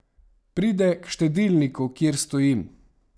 Pride k štedilniku, kjer stojim.